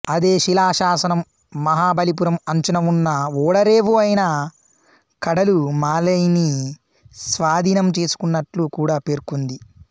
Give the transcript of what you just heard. అదే శిలాశాసనం మహాబలిపురం అంచున ఉన్న ఓడరేవు అయిన కడలు మాలైని స్వాధీనం చేసుకున్నట్లు కూడా పేర్కొంది